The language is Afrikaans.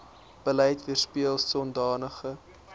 beleid weerspieel sodanige